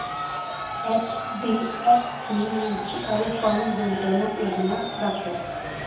HDFC mutual fund गुंतवणूक योजना दाखव